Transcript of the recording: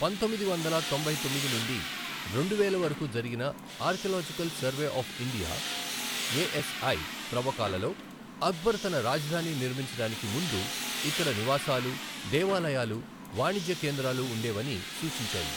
పంతొమ్మిది వందల తొంభై తొమ్మిది నుండి రెండు వేల వరకు జరిగిన archaeological survey of India, ASI త్రవ్వకాలలో అక్బర్ తన రాజధాని నిర్మించడానికి ముందు ఇక్కడ నివాసాలు, దేవాలయాలు, వాణిజ్య కేంద్రాలు ఉండేవని సూచించాయి.